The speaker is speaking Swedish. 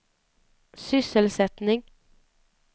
sysselsättning